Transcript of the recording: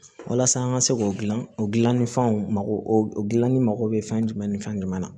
Walasa an ka se k'o dilan o gilannifɛnw mago dilanni mago bɛ fɛn jumɛn ni fɛn jumɛn na